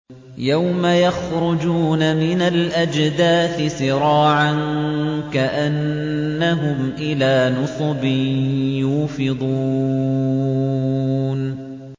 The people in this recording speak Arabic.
يَوْمَ يَخْرُجُونَ مِنَ الْأَجْدَاثِ سِرَاعًا كَأَنَّهُمْ إِلَىٰ نُصُبٍ يُوفِضُونَ